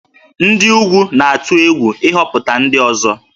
Ndị ugwu na-atụ egwu ịhọpụta ndị ọzọ